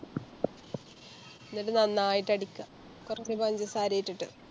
എന്നിട്ട് നന്നായിട്ടടിക്കാ കൊറച്ച് പഞ്ചസാരയും ഇട്ടിട്ട്